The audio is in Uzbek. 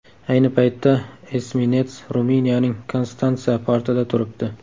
Ayni paytda esminets Ruminiyaning Konstansa portida turibdi.